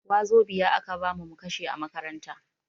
Wazobia a ka bamu mu kashe a makaranta.